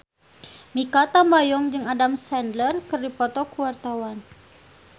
Mikha Tambayong jeung Adam Sandler keur dipoto ku wartawan